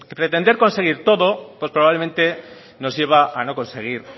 pretender conseguir todo probablemente nos lleva a no conseguir